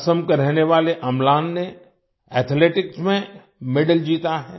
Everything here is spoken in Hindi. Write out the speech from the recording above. असम के रहने वाले अम्लान ने एथलेटिक्स एथलेटिक्स में मेडल जीता है